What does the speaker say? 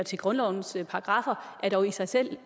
til grundlovens paragraffer er dog i sig selv